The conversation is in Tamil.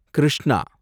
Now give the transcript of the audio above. கிருஷ்ணா